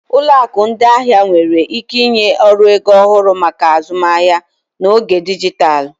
Ụlọ akụ ndị ahịa nwere ike ịnye ọrụ ego ọhụrụ maka azụmaahịa n'oge dijitalụ.